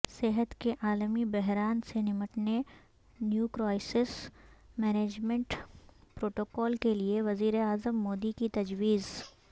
صحت کے عالمی بحران سے نمٹنے نیو کرائسیس مینجمنٹ پروٹوکول کیلئے وزیراعظم مودی کی تجویز